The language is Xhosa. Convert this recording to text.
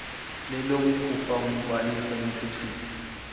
lelokukhupha umngqwaliso nesichitho